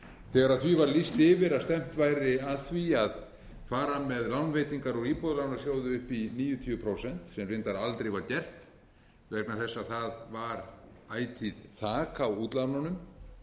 þegar því var lýst yfir að stefnt væri að því að fara með lánveitingar úr íbúðalánasjóði upp í níutíu prósent sem reyndar aldrei var gert vegna þess að það var ætíð þak á útlánunum